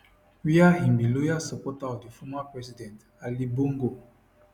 wia im be loyal supporter of di former president ali bongo